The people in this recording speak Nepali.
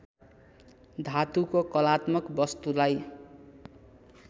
धातुको कलात्मक वस्तुलाई